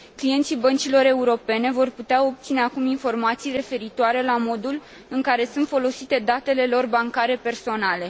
Clienții băncilor europene vor putea obține acum informații referitoare la modul în care sunt folosite datele lor bancare personale.